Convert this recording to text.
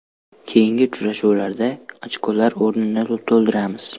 Keyingi uchrashuvlarda ochkolar o‘rnini to‘ldiramiz”.